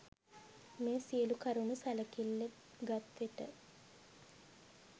මේ සියලු කරුණු සැලකිල්ල ගත් විට